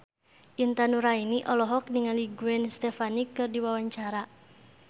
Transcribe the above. Intan Nuraini olohok ningali Gwen Stefani keur diwawancara